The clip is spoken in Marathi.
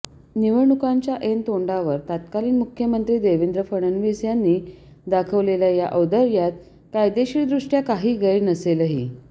निवडणुकांच्या ऐन तोंडावर तत्कालीन मुख्यमंत्री देवेंद्र फडणवीस यांनी दाखवलेल्या या औदार्यात कायदेशीरदृष्टया काही गैर नसेलही